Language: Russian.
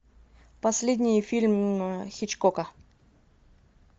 последний фильм хичкока